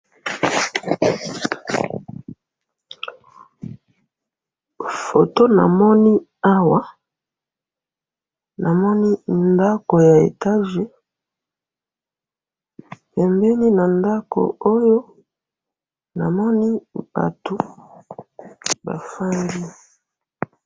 photo namoni awa, namoni ndako ya étage, pembeni na ndako oyo, namoni batu bafandi